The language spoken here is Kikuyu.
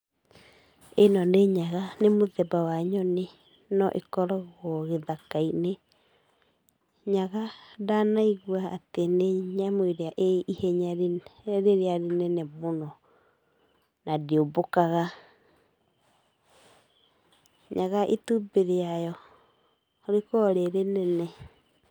Ĩno nĩ nyaga, nĩ mũthemba wa nyoni, no ĩkoragwo gĩthaka-inĩ, nyaga ndanaigua atĩ nĩ nyamũ ĩrĩa ĩ ihenya rĩrĩa rĩnene mũno, na ndĩũmbũkaga. Nyaga itumbĩ rĩayo rĩkoragwo rĩ rĩnene.